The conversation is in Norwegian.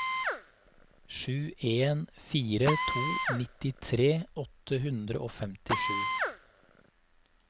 sju en fire to nittitre åtte hundre og femtisju